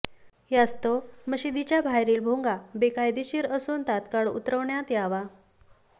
यास्तव मशिदीच्या बाहेरील भोंगा बेकायदेशीर असून तात्काळ उतरवण्यात यावा